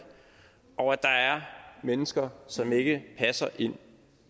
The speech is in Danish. og at der er mennesker som ikke passer ind